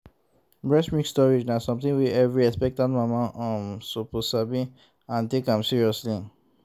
breast milk storage na something wey every expectant mama um suppose sabi and like take am seriously